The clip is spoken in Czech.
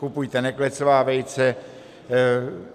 Kupujte neklecová vejce.